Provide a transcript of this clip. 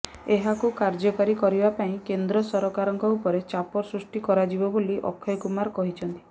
ଏହାକୁ କାର୍ଯ୍ୟକାରୀ କରିବା ପାଇଁ କେନ୍ଦ୍ର ସରକାରଙ୍କ ଉପରେ ଚାପ ସୃଷ୍ଟି କରାଯିବ ବୋଲି ଅକ୍ଷୟ କୁମାର କହିଛନ୍ତି